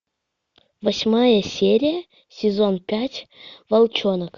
восьмая серия сезон пять волчонок